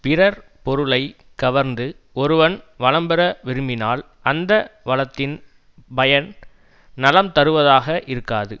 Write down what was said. பிறர் பொருளை கவர்ந்து ஒருவன் வளம்பெற விரும்பினால் அந்த வளத்தின் பயன் நலம் தருவதாக இருக்காது